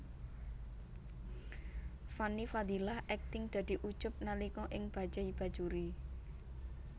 Fanny Fadillah akting dadi Ucup nalika ing Bajaj Bajuri